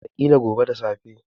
Wataƙila gobe da safe.